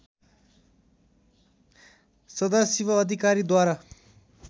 सदाशिव अधिकारीद्वारा